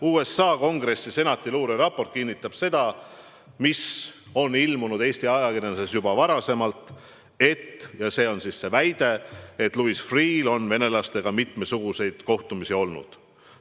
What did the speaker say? USA Kongressi Senati luureraport kinnitab seda, mille kohta on Eesti ajakirjanduses juba varasemalt infot ilmunud, et – ja see on siis see väide –, et Louis Freeh'l on venelastega mitmesuguseid kohtumisi olnud.